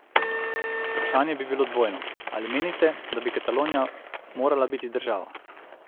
Vprašanje bi bilo dvojno: "Ali menite, da bi Katalonija morala biti država?